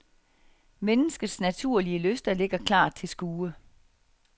Menneskets naturlige lyster ligger klart til skue.